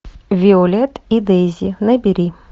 виолет и дейзи набери